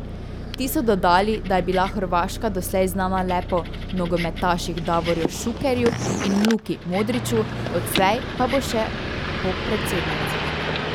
Ti so dodali, da je bila Hrvaška doslej znana le po nogometaših Davorju Šukerju in Luki Modriću, odslej pa bo še po predsednici.